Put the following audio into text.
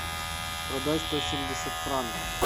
продать сто семьдесят франков